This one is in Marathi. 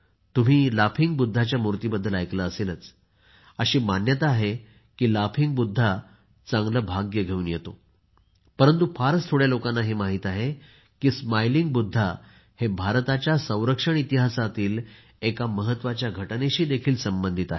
तुम्ही लाफिंग बुद्धाच्या मुर्तींबद्दल ऐकलेच असेल अशी मान्यता आहे की लाफिंग बुद्धा चांगले भाग्य घेऊन येते परंतु फारच थोड्या लोकांना हे माहीत आहे की स्मायलिंग बुद्धा हे भारताच्या संरक्षण इतिहासातील एक महत्त्वाच्या घटनेशी देखील संबंधित आहेत